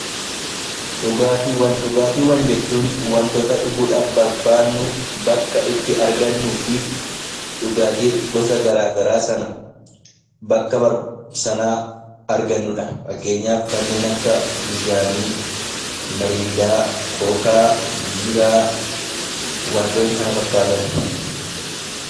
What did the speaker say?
Dhugaatiiwwan jechuun wantoota dhuguudhaaf barbaannu bakka itti argannuu fi dhugaatii gosa garaa garaa sana bakka sanaa argannudha. Fakkeenyaaf kanneen akka bishaanii, miriindaa, kookaa, biiraa warreen kana fakkaatan.